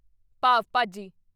ਪਾਵ ਭਾਜੀ